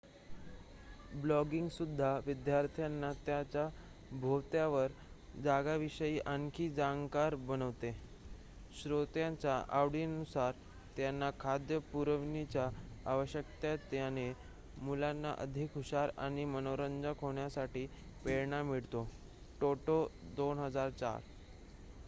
"ब्लॉगिंगसुद्धा "विद्यार्थ्यांना त्यांच्या भोवतालच्या जगाविषयी आणखी जाणकार बनवते." श्रोत्यांच्या आवडींनुसार त्यांना खाद्य पुरविण्याच्या आवश्यकतेने मुलांना अधिक हुशार आणि मनोरंजक होण्यासाठी प्रेरणा मिळते टोटो २००४.